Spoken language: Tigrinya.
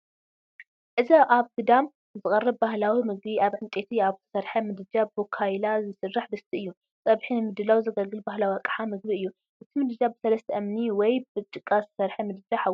እዚ ኣብ ግዳም ዝቐርብ ባህላዊ ምግቢ ኣብ ዕንጨይቲ ኣብ እተሰርሐ ምድጃ ብካይላ ዝሰርሕ ድስቲ እዩ። ጸብሒ ንምድላው ዘገልግል ባህላዊ ኣቕሓ ምግቢ እዩ። እቲ ምድጃ ብሰለስተ እምኒ ወይ ብጭቃ እተሰርሐ ምድጃ ሓዊ እዩ።